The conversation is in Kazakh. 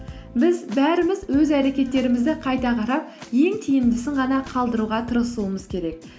біз бәріміз өз әрекеттерімізді қайта қарап ең тиімдісін ғана қалдыруға тырысуымыз керек